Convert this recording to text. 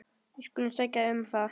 Við skulum sækja um það.